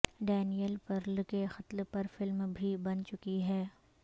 Daniel Pearl کے قتل پر فلم بھی بن چکی ہے